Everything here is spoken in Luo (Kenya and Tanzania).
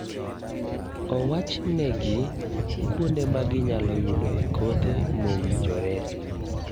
Owachne gi kuonde ma ginyalo yudo e kothe mowinjore.